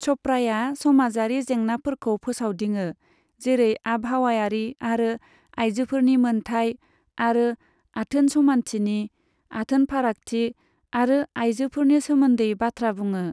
च'पड़ाया सामाजारि जेंनाफोरखौ फोसावदिङो, जेरै आबहावायारि आरो आइजोफोरनि मोनथाइ, आरो आथोन समानथिनि, आथोन फारागथि आरो आयजोफोरनि सोमोन्दै बाथ्रा बुङो।